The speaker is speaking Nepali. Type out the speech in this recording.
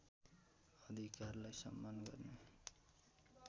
अधिकारलाई सम्मान गर्ने